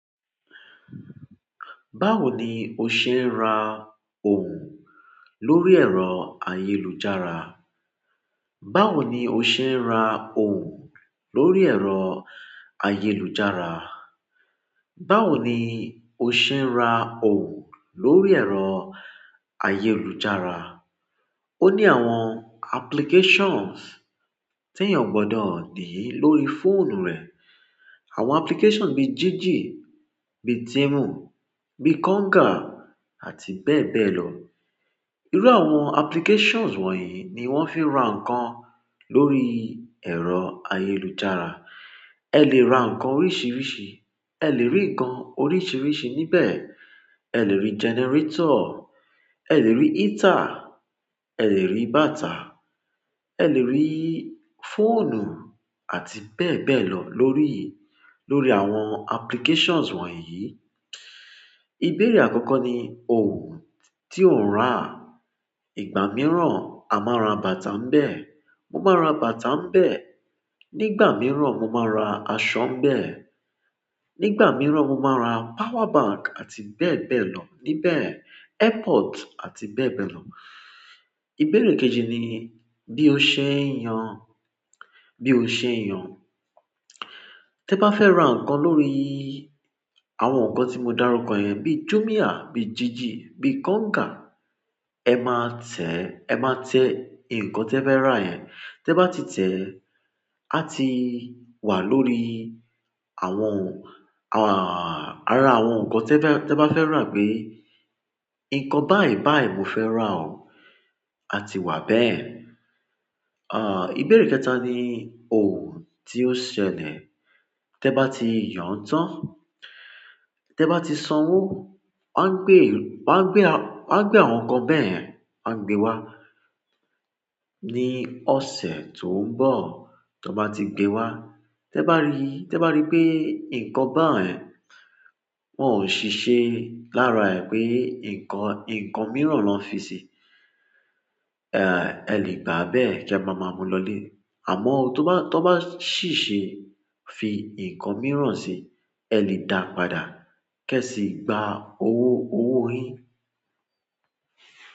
Báwo ni o ṣe ń ra ohun lórí ẹ̀rọ ayélujára? Báwo ni o ṣe ń ra ohun lórí ẹ̀rọ ayélujára? Báwo ni o ṣe ń ra ohun lórí ẹ̀rọ ayélujára? Ó ní àwọn applications tí èèyàn gbọdọ̀ nìí lórí fóònù rẹ̀. Àwọn applications bí Jiji, bí Temu, bí Konga àti bẹ́ẹ̀ bẹ́ẹ̀ lọ. Irú àwọn applications wọ̀nyí ni wọ́n fi ń ra ǹkan lórí ẹ̀rọ ayélujára. Ẹ lè ra ǹkan oríṣìíríṣìí, ẹ lè rí nǹkan oríṣìíríṣìí níbẹ̀. Ẹ lè rí generator, ẹ lè rí heater, ẹ lè rí bàtà, ẹ lè rí fóònù àti bẹ́ẹ̀ bẹ́ẹ̀ lọ lórí, lórí àwọn applications wọ̀nyí. Ibẹ̀rẹ̀ àkọ́kọ́ ni ohun tí ò ń rà. Ìgbà mìíràn a máa ra bàtà mbẹ̀. Mo máa ra bàtà mbẹ̀. Nígbà mìíràn mo máa ra aṣọ mbẹ̀. Nígbà mìíràn mo máa ra power bank àti bẹ́ẹ̀ bẹ́ẹ̀ lọ níbẹ̀. Airpord àti bẹ́ẹ̀ bẹ́ẹ̀ lọ. Ibẹ̀rẹ̀ kejì ni bí o ṣe ń yan, bí o ṣe ń yan. Tin ba fe ra nkan lórí àwọn ti mo daruko ye bi jumia, bi jiji, bi konga, e maa te e ma te nkan tefe ra yen ti e ba ti te á ti wà lórí àwọn, à-- ara àwọn ǹkan tí ẹ bá, tí ẹ bá fẹ́ rà pé, ǹkan báì báì mo fẹ́ rà o, a ti wà bẹ́ẹ̀. À, ìbéèrè kẹta ni ohun tí ó ṣẹlẹ̀. Tẹ bá ti yàn án tán, tẹ bá ti sanwó, wọ́n á gbé, wọ́n á gbé, wọ́n á gbé àwọn ǹkan bẹ́ẹ̀, wọ́n á gbé wá ní ọ̀sẹ̀ tó ń bọ̀. Ton ba ti gbe wa, te ba ri pe nkan bayi wo sise lára e nkan mìíràn na fisi e le gba bẹ́ẹ̀ ki e ma ma mu lo le àmọ́ tó bá, tó bá sì ṣe fi ǹkan mìíràn ṣe, ẹ lè dàá padà kẹ́ sì gba owó, owó yín.